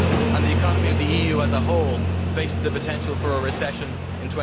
and the economy of the EU as a whole faces the potential for a recession in